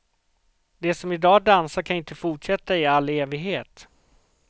De som i dag dansar kan ju inte fortsätta i alla evighet.